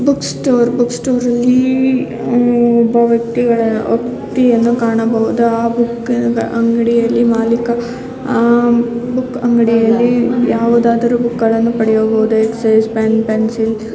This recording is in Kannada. ಬುಕ್ ಸ್ಟೋರ್ ಬುಕ್ ಸ್ಟೋರ್ ಅಲ್ಲಿ ಒಬ್ಬ ವ್ಯಕ್ತಿಯನ್ನು ವ್ಯಕ್ತಿಯನ್ನು ಕಾಣಬಹುದು. ಅವನ ಅಂಗಡಿಯಲ್ಲಿ ಮಾಲೀಕ ಅಂಗಡಿಯಲ್ಲಿ ಯಾವುದಾದರೂ ಬುಕ್ ಗಳನ್ನು ಪಡೆಯಬಹುದು. Pen pencil --